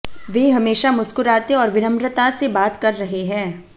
वे हमेशा मुस्कुराते और विनम्रता से बात कर रहे हैं